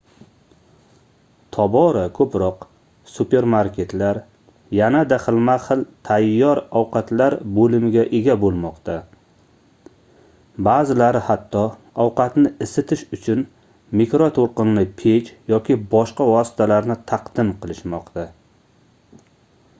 tobora koʻproq supermarketlar yanada xilma-xil tayyor ovqatlar boʻlimiga ega boʻlmoqda baʼzilari hatto ovqatni isitish uchun mikrotoʻlqinli pech yoki boshqa vositalarni taqdim qilishmoqda